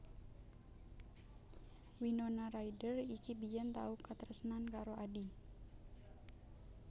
Winona Ryder iki biyen tau katresnan karo Adi